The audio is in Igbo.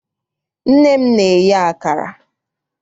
Nne m na-eye akara.